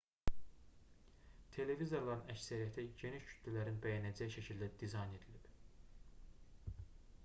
televizorların əksəriyyəti geniş kütlələrin bəyənəcəyi şəkildə dizayn edilib